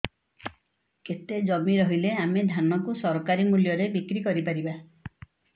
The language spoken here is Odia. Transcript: କେତେ ଜମି ରହିଲେ ଆମେ ଧାନ କୁ ସରକାରୀ ମୂଲ୍ଯରେ ବିକ୍ରି କରିପାରିବା